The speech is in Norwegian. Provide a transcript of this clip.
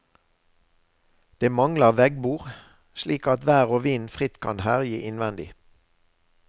Det mangler veggbord, slik at vær og vind fritt kan herje innvendig.